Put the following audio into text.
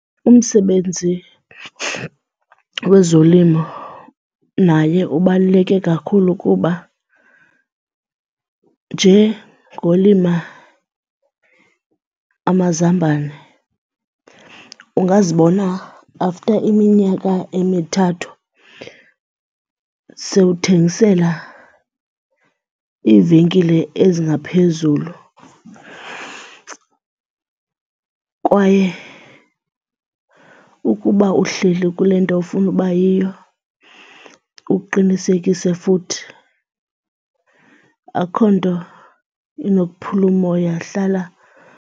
Umsebenzi wezolimo naye ubaluleke kakhulu kuba nje ngolima amazambane ungazibona after iminyaka emithathu sewuthengisela iivenkile ezingaphezulu kwaye ukuba uhleli kule nto ofuna uba yiyo uqinisekise futhi, akho nto inokuphula umoya, hlala.